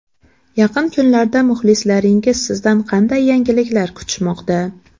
Yaqin kunlarda muxlislaringiz sizdan qanday yangiliklar kutishmoqda?